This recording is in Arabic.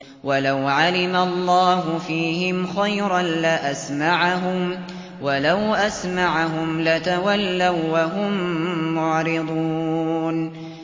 وَلَوْ عَلِمَ اللَّهُ فِيهِمْ خَيْرًا لَّأَسْمَعَهُمْ ۖ وَلَوْ أَسْمَعَهُمْ لَتَوَلَّوا وَّهُم مُّعْرِضُونَ